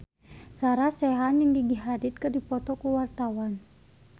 Sarah Sechan jeung Gigi Hadid keur dipoto ku wartawan